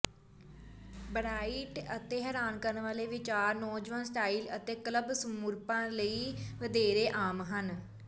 bright ਅਤੇ ਹੈਰਾਨ ਕਰਨ ਵਾਲੇ ਵਿਚਾਰ ਨੌਜਵਾਨ ਸਟਾਈਲ ਅਤੇ ਕਲੱਬ ਸਮਰੂਪਾਂ ਲਈ ਵਧੇਰੇ ਆਮ ਹਨ